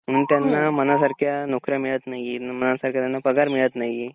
मग त्यांना मनासारख्या नोकऱ्या मिळत नाही मनासारखा पगार मिळत नाही.